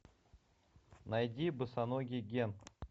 найди босоногий гэн